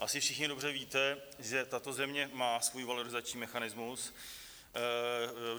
Asi všichni dobře víte, že tato země má svůj valorizační mechanismus.